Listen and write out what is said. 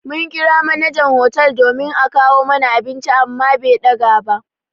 Mun ƙira manajan hotel domin a kawo mana abinci amma be ɗaga ba.